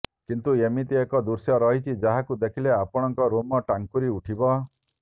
କିନ୍ତୁ ଏମିତି ଏକ ଦୃଶ୍ୟ ରହିଛି ଯାହାକୁ ଦେଖିଲେ ଆପଣଙ୍କ ଲୋମ ଟାଙ୍କୁରି ଉଠିବ